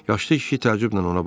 Yaşlı kişi təəccüblə ona baxdı.